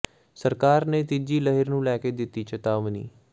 ਸਰਕਾਰ ਨੇ ਤੀਜੀ ਲਹਿਰ ਨੂੰ ਲੈ ਕੇ ਦਿੱਤੀ ਚਿਤਾਵਨੀ